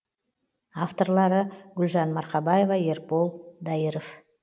авторлары гүлжан марқабаева ербол дайыров